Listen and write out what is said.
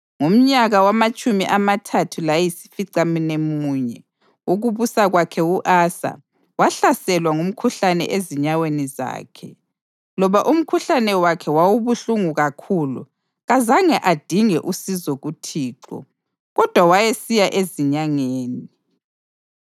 Ngomnyaka wamatshumi amathathu layisificamunwemunye wokubusa kwakhe u-Asa wahlaselwa ngumkhuhlane ezinyaweni zakhe. Loba umkhuhlane wakhe wawubuhlungu kakhulu, kazange adinge usizo kuThixo, kodwa wayesiya ezinyangeni.